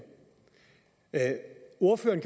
ordføreren